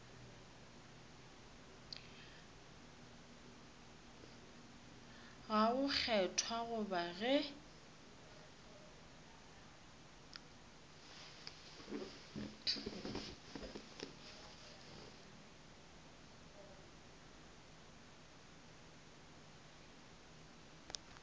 ga go kgethwa goba ge